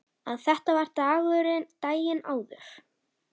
Að þetta var daginn áður.